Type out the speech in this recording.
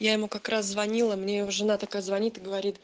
я ему как раз звонила мне его жена такая звонит и говорит